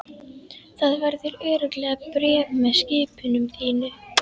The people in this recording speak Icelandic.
Það verður örugglega bréf með skipinu til þín.